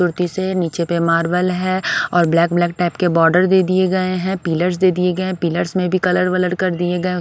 मूर्ति से नीचे पे मार्बल है और ब्लैक ब्लैक टाइप के बॉर्डर दे दिए गए हैं पिलर्स दे दिए गए हैं पिलर्स में भी कलर वलर कर दिए गए --